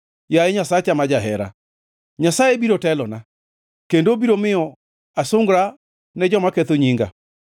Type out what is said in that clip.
Yaye Nyasacha ma jahera. Nyasaye biro telona kendo obiro miyo asungra ne joma ketho nyinga.